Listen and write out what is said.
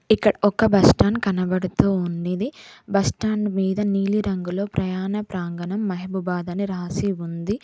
ఇక్కడ ఒక బస్టాండ్ కనబడుతూ ఉండేది బస్టాండ్ మీద నీలిరంగులో ప్రయాణ ప్రాంగణం మహబూబాబాద్ అని రాసి ఉంది.